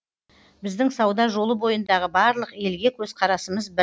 біздің сауда жолы бойындағы барлық елге көзқарасымыз бір